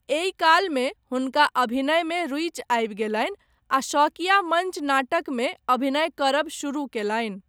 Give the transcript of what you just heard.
एहि कालमे हुनका अभिनयमे रुचि आबि गेलनि आ शौकिया मञ्च नाटकमे अभिनय करब शुरू कयलनि।